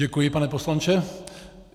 Děkuji, pane poslanče.